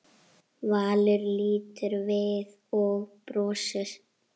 Valur lítur við og brosir.